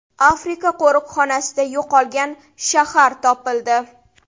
Afrika qo‘riqxonasida yo‘qolgan shahar topildi.